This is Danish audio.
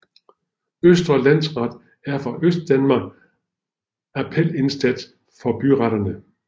Østre Landsret er for Østdanmark appelinstans for byretterne